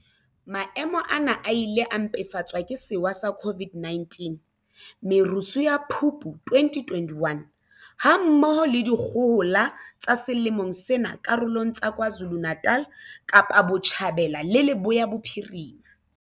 Maemo ana a ile a mpefatswa ke sewa sa COVID-19, merusu ya Phupu 2021, ha mmoho le dikgohola tsa selemong sena karolong tsa KwaZulu-Natal, Kapa Botjhabela le Leboya Bophirima.